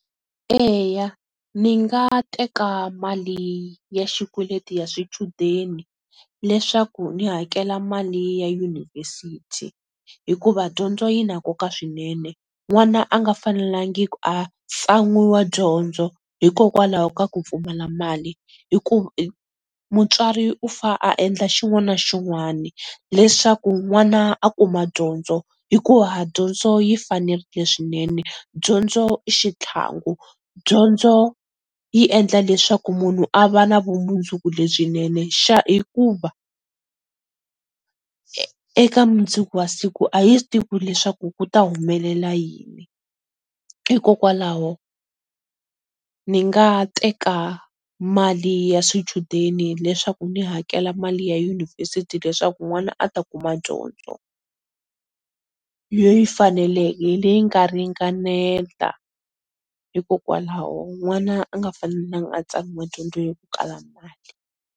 Eya ni nga teka mali ya xikweleti ya swichudeni, leswaku ni hakela mali ya University hikuva dyondzo yi na nkoka swinene n'wana a nga fanelangi ku a tsan'wiwa dyondzo hikokwalaho ka ku pfumala mali mutswari u fa a endla xin'wana xin'wani leswaku n'wana a kuma dyondzo, hikuva dyondzo yi fanelerile swinene, dyondzo i xitlhangu, dyondzo yi endla leswaku munhu a va na vumundzuku lebyinene hikuva eka mundzuku wa siku a hi swi tivi ku leswaku ku ta humelela yini? Hikokwalaho ni nga teka mali ya swichudeni leswaku ni hakela mali ya University leswaku n'wana a ta kuma dyondzo, leyi faneleke leyi nga ringanela, hikokwalaho n'wana a nga fanelangi a tsan'wiwa dyondzo hi ku kala mali.